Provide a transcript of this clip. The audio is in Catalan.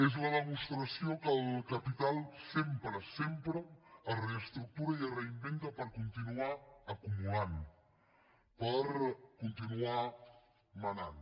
és la demostració que el capital sempre sempre es reestructura i es reinventa per continuar acumulant per continuar manant